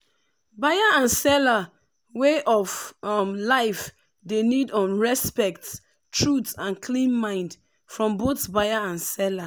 buyer and seller way of um life dey need um respect truth and clean mind from both buyer and seller.